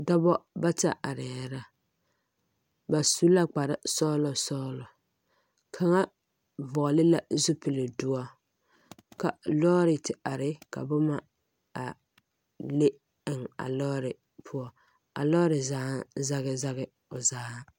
Dɔbɔ bata arɛɛ la ba su la kpare sɔglɔ kaŋa vɔgle la zupile doɔ ka lɔɔre te are ka noma a le eŋ a lɔɔre poɔ a lɔɔre zaa zage zage o zaa.